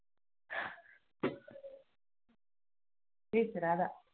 பேசுறாரா